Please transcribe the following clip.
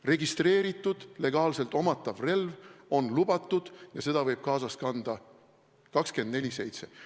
Registreeritud, legaalselt omatav relv on lubatud ja seda võib kaasas kanda 24/7.